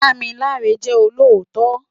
Damilare jè ólótò